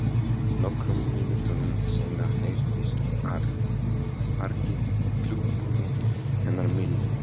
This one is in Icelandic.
Nokkrum mínútum seinna heyrðist argið í klukkunni hennar Millu.